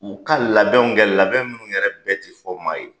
U ka labɛnw kɛ labɛn minnu yɛrɛ bɛɛ ti fɔ maa ye